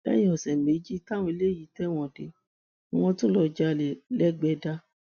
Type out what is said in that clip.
lẹyìn ọsẹ méjì táwọn eléyìí tẹwọn dé ni wọn tún lọọ jalè lẹgbẹdà